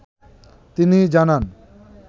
তিনি জানান ।